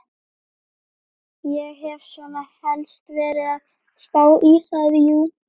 Ég hef svona helst verið að spá í það, jú.